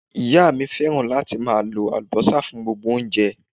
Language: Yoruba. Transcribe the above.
Ìyá mi fẹ́ràn láti máa lo Àlùbọ́sà fún gbogbo oúnjẹ.